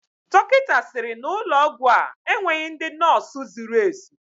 Dọkịta sịrị na ụlọ ọgwụ a enweghị ndị nọọsụ zuru ezu.